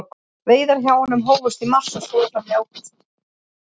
Veiðar hjá honum hófust í mars og stóðu fram í ágúst.